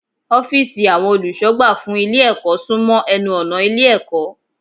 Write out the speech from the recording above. Ófììsì àwọn olùsọ̀gbà fún Ilé ẹ̀kọ́ sún mọ́ enu ọ̀nà Ilé ẹ̀kọ́